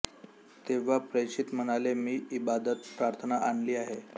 तेव्हा प्रेषित म्हणाले मी इबादत प्रार्थना आणली आहे